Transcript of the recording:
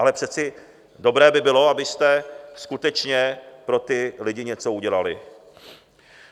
Ale přeci dobré by bylo, abyste skutečně pro ty lidi něco udělali.